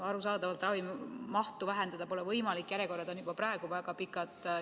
Arusaadavalt pole ravi mahtu vähendada võimalik, järjekorrad on juba praegu väga pikad.